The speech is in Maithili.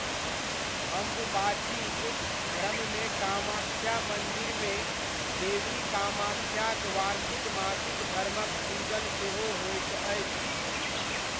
अम्बुबाचीक क्रममे कामाख्या मन्दिरमे देवी कामाख्याक वार्षिक मासिक धर्मक पूजन सेहो होइत अछि।